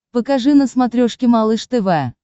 покажи на смотрешке малыш тв